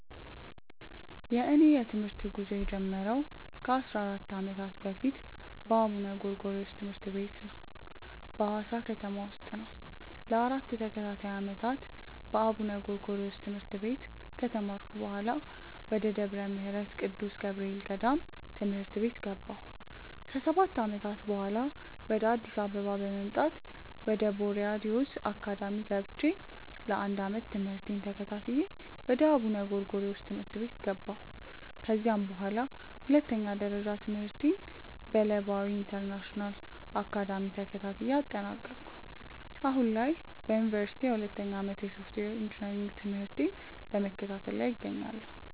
የእኔ የትምህርት ጉዞ የጀመረው ከ 14 ዓመታት በፊት በአቡነ ጎርጎሪዎስ ትምህርት ቤት በሀዋሳ ከተማ ውስጥ ነው። ለ 4 ተከታታይ ዓመታት በአቡነ ጎርጎሪዮስ ትምህርት ቤት ከተማርኩ በኃላ፣ ወደ ደብረ ምህረት ቅዱስ ገብርኤል ገዳም ትምህርት ቤት ገባሁ። ከ 7 ዓመታትም በኃላ፣ ወደ አዲስ አበባ በመምጣት ወደ ቦርያድ ዮዝ አካዳሚ ገብቼ ለ 1 ዓመት ትምህርቴን ተከታትዬ ወደ አቡነ ጎርጎሪዮስ ትምህርት ቤት ገባሁ። ከዚያም በኃላ ሁለተኛ ደረጃ ትምህርቴን በለባዊ ኢንተርናሽናል አካዳሚ ተከታትዬ አጠናቀኩ። አሁን ላይ በዮኒቨርሲቲ የሁለተኛ ዓመት የሶፍትዌር ኢንጂነሪንግ ትምህርቴን በመከታተል ላይ እገኛለሁ።